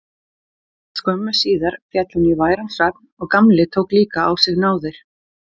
Skömmu síðar féll hún í væran svefn og Gamli tók líka á sig náðir.